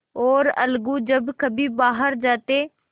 और अलगू जब कभी बाहर जाते